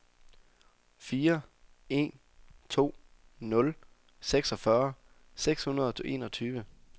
fire en to nul seksogfyrre seks hundrede og enogtyve